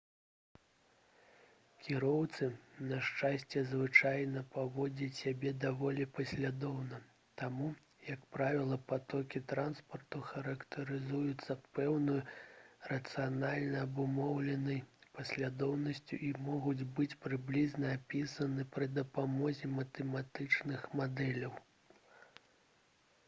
кіроўцы на шчасце звычайна паводзяць сябе даволі паслядоўна таму як правіла патокі транспарту характарызуюцца пэўнай рацыянальна абумоўленай паслядоўнасцю і могуць быць прыблізна апісаны пры дапамозе матэматычных мадэляў